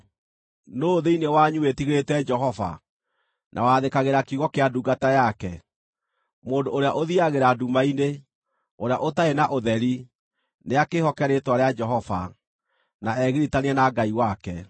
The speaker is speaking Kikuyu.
Nũũ thĩinĩ wanyu wĩtigĩrĩte Jehova, na wathĩkagĩra kiugo kĩa ndungata yake? Mũndũ ũrĩa ũthiiagĩra nduma-inĩ, ũrĩa ũtarĩ na ũtheri, nĩakĩĩhoke rĩĩtwa rĩa Jehova, na egiritanie na Ngai wake.